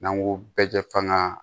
N'an ko bɛɛ kɛ fanga